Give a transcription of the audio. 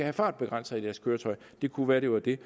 en fartbegrænser i deres køretøj det kunne være at det var det